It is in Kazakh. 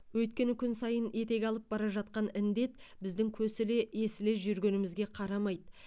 өйткені күн сайын етек алып бара жатқан індет біздің көсіле есіле жүргенімізге қарамайды